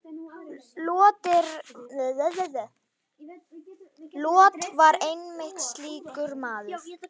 Lot var einmitt slíkur maður.